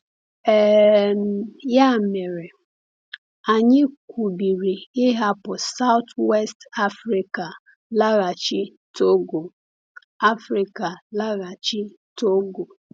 um Ya mere, anyị kwubiri ịhapụ South-West Africa laghachi Togo. Africa laghachi Togo.